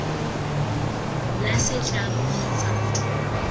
la setlamo kgotsa motho mongwe